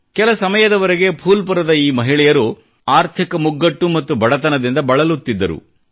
ಕೆಲ ಸಮಯದವರೆಗೆ ಫೂಲ್ಪುರದ ಈ ಮಹಿಳೆಯರು ಆರ್ಥಿಕ ಮುಗ್ಗಟ್ಟು ಮತ್ತು ಬಡತನದಿಂದ ಬಳಲುತ್ತಿದ್ದರು